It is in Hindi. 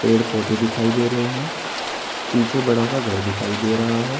पेड़ पौधे दिखाई दे रहे हैं पीछे बड़ा सा घर दिखाई दे रहा है।